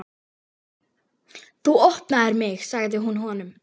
Þú opnaðir mig, sagði hún honum.